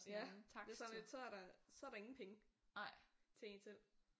Ja det er sådan lidt så er der så der ingen penge til en selv